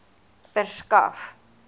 verskaf